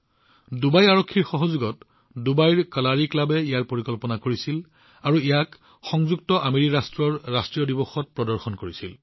ডুবাইৰ কালাৰী ক্লাবে ডুবাই আৰক্ষীৰ সৈতে ইয়াৰ পৰিকল্পনা কৰিছিল আৰু ইউএইৰ ৰাষ্ট্ৰীয় দিৱসত ইয়াক প্ৰদৰ্শন কৰিছিল